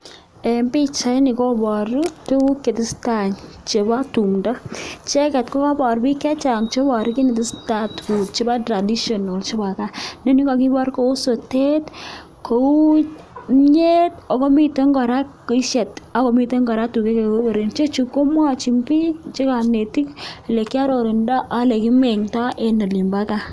Eng pichaini koparu tuguk che tesetai chebo tumdo, icheket kokaipor biik chechang che iporu tuguk che tesetai chebo traditional chebo gaa , noni kakipor kou sotet, kou kimnyet, akomite kora uishet ako miten kora che kikorkonen chego. Chechu komwachin biik che kanetik ole kiarorindoi ak ole kimengton eng olimbo gaa.